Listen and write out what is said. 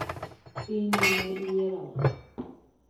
In dine iyiero ng'aa?